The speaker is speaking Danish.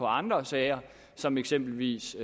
andre sager som eksempelvis